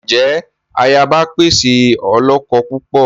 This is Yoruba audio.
Njẹ ayaba pẹ ṣe olókó púpọ?